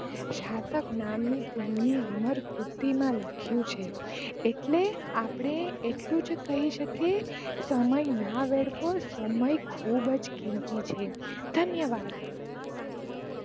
સાર્થક નામ ની તેમની અમર બુદ્ધિ માં લખિયું છે એટલે આપડે એટલું જ કહી શકીયે સમય ના વેડફો, સમય ખુબ જ કિંમતી છે ધન્યવાદ